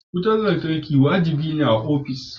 Wutar lantarki wajibi ne a ofis.